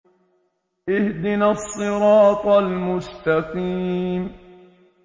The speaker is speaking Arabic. اهْدِنَا الصِّرَاطَ الْمُسْتَقِيمَ